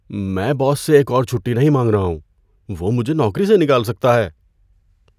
میں باس سے ایک اور چھٹی نہیں مانگ رہا ہوں۔ وہ مجھے نوکری سے نکال سکتا ہے۔